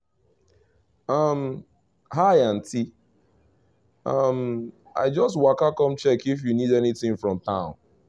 um hi auntie um i just waka come check if you need anything from town